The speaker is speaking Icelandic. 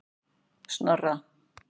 Snorra